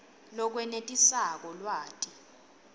lokwenetisako lwati